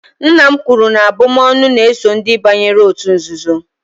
nna m kwuru na abụm'ọnụ na-eso ndị banyere òtù nzuzo